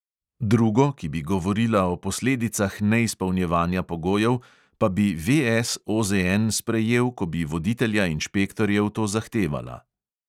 Drugo, ki bi govorila o posledicah neizpolnjevanja pogojev, pa bi VS OZN sprejel, ko bi voditelja inšpektorjev to zahtevala.